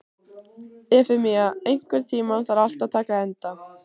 Efemía, einhvern tímann þarf allt að taka enda.